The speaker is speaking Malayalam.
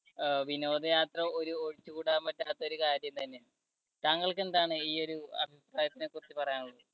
അഹ് വിനോദയാത്ര ഒരു ഒഴിച്ചുകൂടാൻ പറ്റാത്ത ഒരു കാര്യം തന്നെയാണ്. താങ്കൾക്ക് എന്താണ് ഈ ഒരു അഭിപ്രായത്തിനെ കുറിച്ച് പറയാനുള്ളത്?